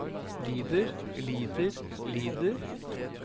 lider lider lider